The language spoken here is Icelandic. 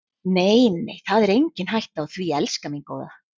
Nei, nei, það er engin hætta á því, elskan mín góða.